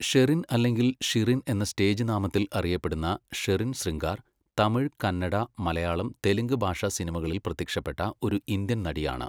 ഷെറിൻ അല്ലെങ്കിൽ ഷിറിൻ എന്ന സ്റ്റേജ് നാമത്തിൽ അറിയപ്പെടുന്ന ഷെറിൻ ശൃംഗാർ, തമിഴ്, കന്നഡ, മലയാളം, തെലുങ്ക് ഭാഷാ സിനിമകളിൽ പ്രത്യക്ഷപ്പെട്ട ഒരു ഇന്ത്യൻ നടിയാണ്.